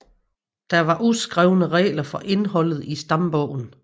Der var uskrevne regler for indholdet i stambogen